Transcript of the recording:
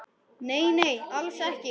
Nei, nei, alls ekki.